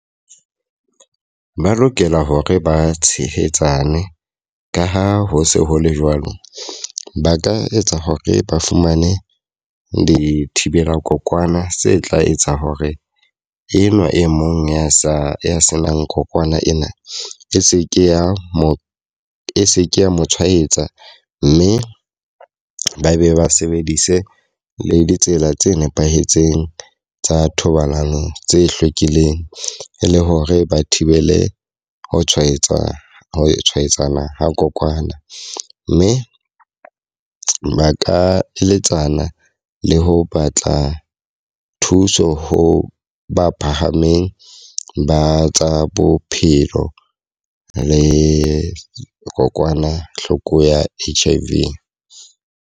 Ba lokela hore ba tshehetsane, ka ha ho se ho le jwalo. Ba ka etsa hore ba fumane dithibela kokwana tse tla etsa hore enwa e mong ya sa ya senang kokwana ena e se ke ya mo e se ke ya mo tshwaetsa. Mme ba be ba sebedise le ditsela tse nepahetseng tsa thobalano tse hlwekileng, e le hore ba thibele ho tshwaetsa ho tshwaetsana ha kokwana. Mme ba ka eletsana le ho batla thuso ho ba phahameng ba tsa bophelo le kokwanahloko ya H_I_V.